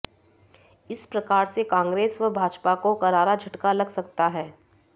इस प्रकार से कांग्रेस व भाजपा को करारा झटका लग सकता है